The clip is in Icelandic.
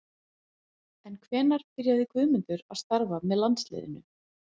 En hvenær byrjaði Guðmundur að starfa með landsliðinu?